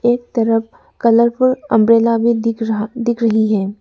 एक तरफ colourful umbrella भी दिख रहा दिख रही है।